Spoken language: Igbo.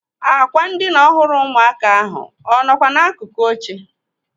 Ákwà ndịna ọhụrụ ụmụaka ahụ ọ nọkwa n'akụkụ oche?